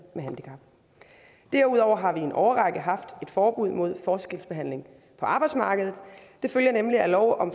med handicap derudover har vi i en årrække haft et forbud mod forskelsbehandling på arbejdsmarkedet det følger nemlig af lov om